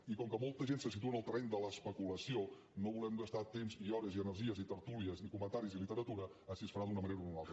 i com que molta gent se situa en el terreny de l’especulació no volem gastar temps i hores i energies i tertúlies i comentaris i literatura a si es farà d’una manera o d’una altra